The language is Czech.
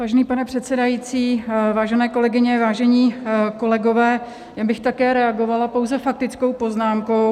Vážený pane předsedající, vážené kolegyně, vážení kolegové, já bych také reagovala pouze faktickou poznámkou.